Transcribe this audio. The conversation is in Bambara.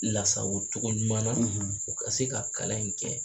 Lasago cogo ɲuman na u ka se ka kalan in kɛ